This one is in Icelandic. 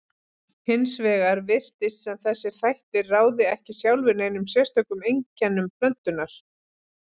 Hins vegar virtist sem þessir þættir ráði ekki sjálfir neinum sérstökum einkennum plöntunnar.